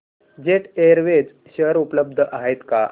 jet Airways share उपलब्ध आहेत का